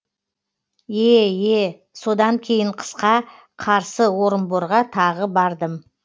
е е содан кейін қысқа қарсы орынборға тағы бардым